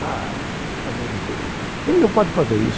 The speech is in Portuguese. Pai, pelo amor de Deus, ele não pode fazer isso.